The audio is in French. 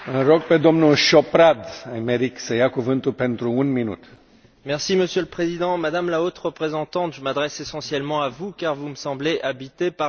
Monsieur le Président, Madame la Haute représentante, je m'adresse essentiellement à vous car vous me semblez habitée par un esprit de paix, à la différence d'un certain nombre de mes collègues parlementaires ici.